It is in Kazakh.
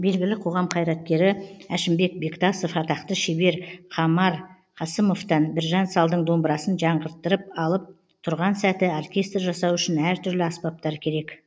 белгілі қоғам қайраткері әшімбек бектасов атақты шебер қамар қасымовтан біржан салдың домбырасын жаңғырттырып алып тұрған сәті оркестр жасау үшін әртүрлі аспаптар керек